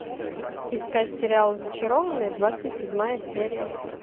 искать сериал зачарованные двадцать седьмая серия